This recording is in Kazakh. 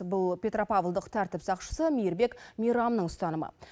бұл петропавлдық тәртіп сақшысы мейірбек мейрамның ұстанымы